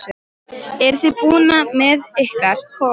Eruð þið búnir með ykkar kofa?